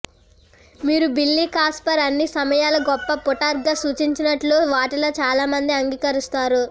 మీరు Billy Casper అన్ని సమయాల గొప్ప పుటర్గా సూచించినట్లయితే వాటిలో చాలామంది అంగీకరిస్తారు